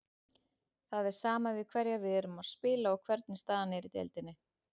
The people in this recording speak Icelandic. Það er sama við hverja við erum að spila og hvernig staðan er í deildinni.